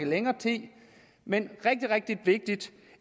længere tid men det